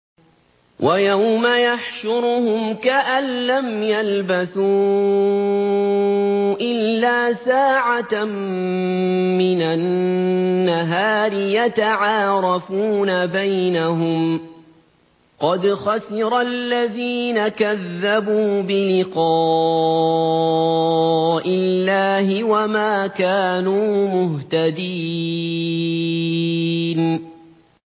وَيَوْمَ يَحْشُرُهُمْ كَأَن لَّمْ يَلْبَثُوا إِلَّا سَاعَةً مِّنَ النَّهَارِ يَتَعَارَفُونَ بَيْنَهُمْ ۚ قَدْ خَسِرَ الَّذِينَ كَذَّبُوا بِلِقَاءِ اللَّهِ وَمَا كَانُوا مُهْتَدِينَ